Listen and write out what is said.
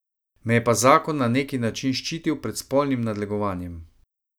Me je pa zakon na neki način ščitil pred spolnim nadlegovanjem.